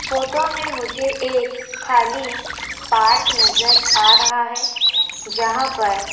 photo में मुझे एक खाली पार्क नजर आ रहा हैं जहां पर --